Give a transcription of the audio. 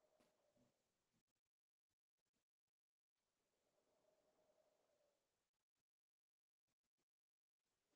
Nooca xididdada dhiigga oo lagu garto maqaar dhuuban, dhalaalaya oo aad u jilicsan oo si fudud u nabarro.